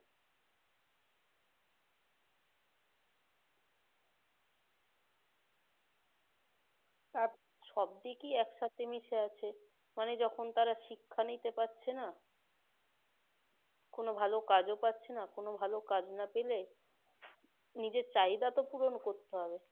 আর সব দেখি একসাথে মিশে আছে তারা শিক্ষা নিতে পারছে না কোন ভাল কাজও পাচ্ছে না কোন ভালো কাজ না পেলে নিজে চাহিদা তো ও পূরণ করতে হবে